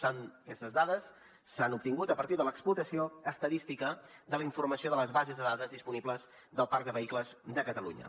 per tant aquestes dades s’han obtingut a partir de l’explotació estadística de la informació de les bases de dades disponibles del parc de vehicles de catalunya